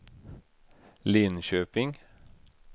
Linköping